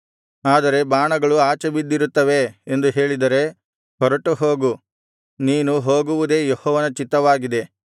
ಆದರೆ ಬಾಣಗಳು ಆಚೆ ಬಿದ್ದಿರುತ್ತವೆ ಎಂದು ಹೇಳಿದರೆ ಹೊರಟುಹೋಗು ನೀನು ಹೋಗುವುದೇ ಯೆಹೋವನ ಚಿತ್ತವಾಗಿದೆ